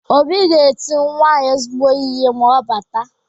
Obi ga-eti nwa ya ezigbo ihe ma ọ bata.